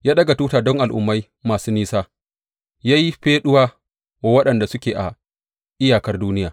Ya ɗaga tuta don al’ummai masu nisa, ya yi feɗuwa wa waɗanda suke a iyakar duniya.